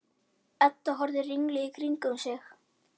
Edda horfði ringluð í kringum sig.